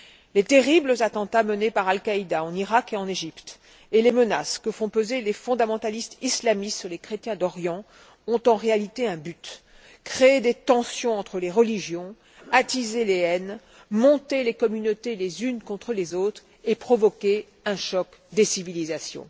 Les terribles attentats menés par Al Qaïda en Irak et en Égypte et les menaces que font peser les fondamentalistes islamistes sur les chrétiens d'Orient ont en réalité un but créer des tensions entre les religions, attiser les haines, monter les communautés les unes contre les autres et provoquer un choc des civilisations.